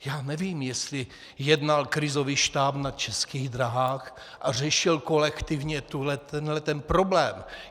Já nevím, jestli jednal krizový štáb na Českých dráhách a řešil kolektivně tenhle ten problém.